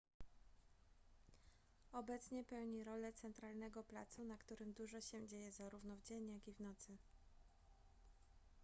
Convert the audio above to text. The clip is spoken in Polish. obecnie pełni rolę centralnego placu na którym dużo się dzieje zarówno w dzień jak i w nocy